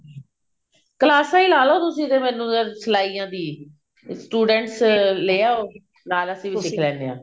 ਕਲਾਸਾਂ ਹੀ ਲਾਲੋ ਤੁਸੀਂ ਤੇ ਮੈਨੂ ਫ਼ੇਰ ਸਲਾਈਆਂ ਦੀ student ਲੈ ਆਓ ਨਾਲ ਅਸੀਂ ਸਿੱਖ ਲੈਂਦੇ ਹਾਂ